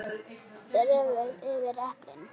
Dreifið yfir eplin.